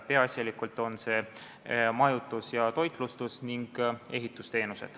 Peaasjalikult puudutab see majutus-, toitlustus- ning ehitusteenuseid.